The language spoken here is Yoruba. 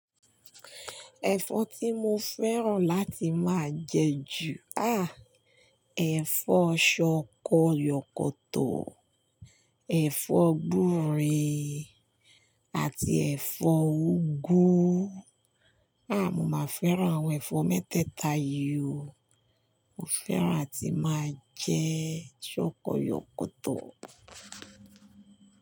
Ẹ̀fọ́ tí mo fẹ́ràn láti máa jẹ ju, ah, ẹ̀fọ́ ṣọkọ yọkọ́tọ̀, ẹ̀fọ́ gbúre, àti ẹ̀fọ́ úgú. Ah, mo máa fẹ́ràn àwọn ẹ̀fọ́ mẹ́tẹ́ẹ̀ta yìí o. Mo fẹ́ràn àti máa jẹ ṣọkọ yọkọ́tọ̀